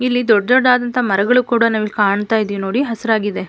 ಇಲ್ಲಿ ದೊಡ್ಡ ದೊಡ್ಡದಾದಂಥ ಮರಗಳು ಕೂಡ ನಾವಿಲ್ಲಿ ಕಾಣ್ತಾ ಇದ್ದಿವಿ ನೋಡಿ ಹಸುರಾಗಿದೆ.